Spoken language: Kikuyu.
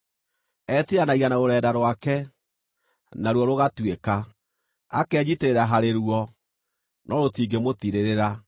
Etiiranagia na rũrenda rwake, naruo rũgatuĩka; akenyiitĩrĩra harĩ ruo, no rũtingĩmũtiirĩrĩra.